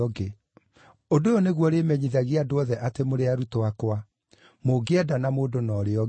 Ũndũ ũyũ nĩguo ũrĩmenyithagia andũ othe atĩ mũrĩ arutwo akwa, mũngĩendana mũndũ na ũrĩa ũngĩ.”